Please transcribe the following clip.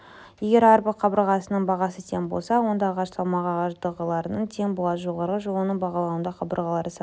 егер әрбір қабырғасының бағасы тең болса онда ағаш салмағы ағаш доғаларына тең болады жоғарғы жолының бағалауында қабырғалар саны